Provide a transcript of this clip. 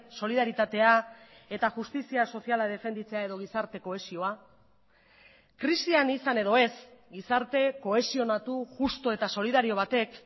solidaritatea eta justizia soziala defenditzea edo gizarte kohesioa krisian izan edo ez gizarte kohesionatu justu eta solidario batek